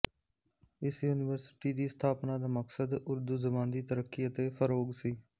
ਇਸ ਯੂਨੀਵਰਸਿਟੀ ਦੀ ਸਥਾਪਨਾ ਦਾ ਮਕਸਦ ਉਰਦੂ ਜ਼ਬਾਨ ਦੀ ਤਰੱਕੀ ਅਤੇ ਫ਼ਰੋਗ਼ ਸੀ